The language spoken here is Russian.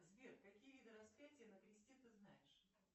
сбер какие виды распятия на кресте ты знаешь